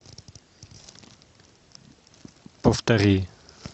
повтори